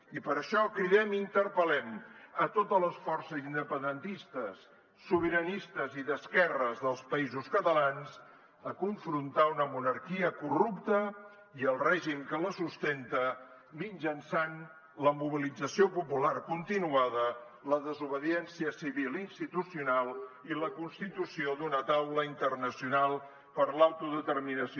i per això cridem i interpel·lem a totes les forces independentistes sobiranistes i d’esquerres dels països catalans a confrontar una monarquia corrupta i el règim que la sustenta mitjançant la mobilització popular continuada la desobediència civil i institucional i la constitució d’una taula internacional per l’autodeterminació